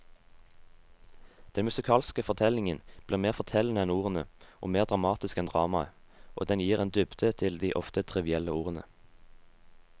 Den musikalske fortellingen blir mer fortellende enn ordene og mer dramatisk enn dramaet, og den gir en dybde til de ofte trivielle ordene.